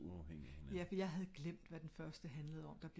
de er uafhængige af hinanden